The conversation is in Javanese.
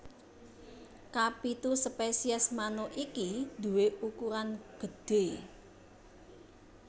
Kapitu spesies manuk iki duwé ukuran gedhé